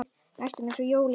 Næstum eins og jólin.